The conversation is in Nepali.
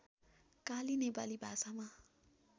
काली नेपाली भाषामा